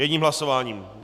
Jedním hlasováním.